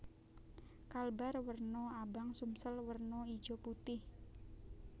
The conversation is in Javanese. Kalbar werna abang Sumsel werna ijo putih